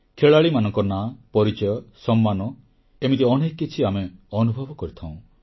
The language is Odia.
ଖେଳାଳିମାନଙ୍କ ନାଁ ପରିଚୟ ସମ୍ମାନ ଏମିତି ଅନେକ କିଛି ଆମେ ଅନୁଭବ କରିଥାଉଁ